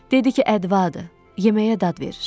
Dedi ki, ədvaddır, yeməyə dad verir.